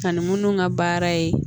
Ka ni minnu ka baara ye